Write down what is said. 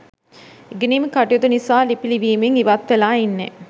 ඉගෙනිම් කටයුතු නිසා ලිපි ලිවීමෙන් ඉවත් වෙලා ඉන්නේ